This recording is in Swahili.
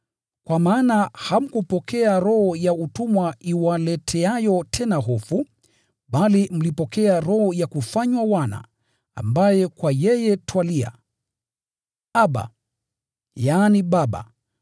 Kwa maana hamkupokea roho ya utumwa iwaleteayo tena hofu, bali mlipokea roho ya kufanywa wana, ambaye kwa yeye twalia, “Abba, yaani, Baba,”